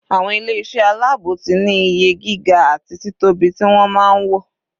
Àwọn ilé iṣẹ́ aláàbò ti ní iye gíga àti títóbi ti wọ́n máa ń wò.